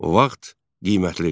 Vaxt qiymətlidir.